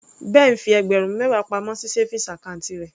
Ben fi ẹgbẹ̀rún mẹwa pamọ́ sí savings account rẹ̀.